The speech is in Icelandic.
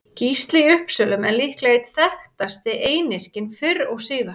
Gísli í Uppsölum er líklega einn þekktasti einyrkinn fyrr og síðar.